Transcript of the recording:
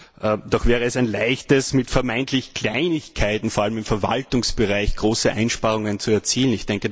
Dabei wäre es ein Leichtes, mit vermeintlichen Kleinigkeiten vor allem im Verwaltungsbereich große Einsparungen zu erzielen.